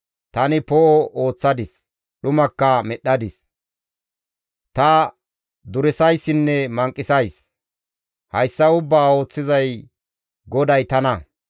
Tani poo7o ooththadis; dhumakka medhdhadis; ta duresayssinne manqisays; hayssa ubbaa ooththiza GODAY tana.